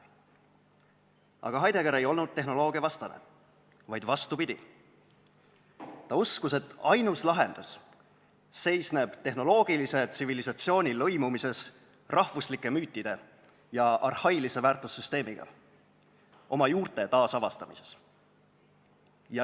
Aga Heidegger ei olnud tehnoloogia vastane, vastupidi, ta uskus, et ainus lahendus seisneb tehnoloogilise tsivilisatsiooni lõimumises rahvuslike müütide ja arhailise väärtussüsteemiga – oma juurte taasavastamises.